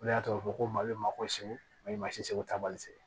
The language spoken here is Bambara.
O de y'a to a bɛ fɔ ko mali ma ko se mali se taabali se ye